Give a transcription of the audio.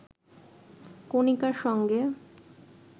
কণিকার সঙ্গে